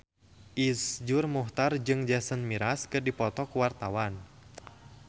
Iszur Muchtar jeung Jason Mraz keur dipoto ku wartawan